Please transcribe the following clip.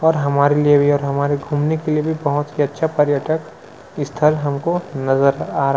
ओर हमरे लिए भी ओर हमारे घूमने के लिए भी बहुत ही अछा पर्यटन स्थल हम को नजर आ रहा है ।